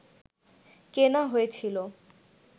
কেনা হয়েছিল